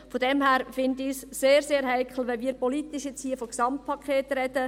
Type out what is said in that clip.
Daher finde ich es sehr, sehr heikel, wenn wir jetzt hier politisch von einem Gesamtpaket sprechen.